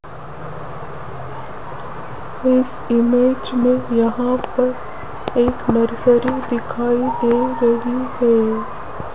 इस इमेज में यहां पर एक नर्सरी दिखाई दे रही है।